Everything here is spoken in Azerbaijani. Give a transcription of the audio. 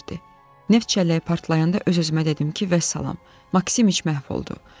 "Neft çələyi partlayanda öz-özümə dedim ki, vəssalam, Maksimiç məhv oldu."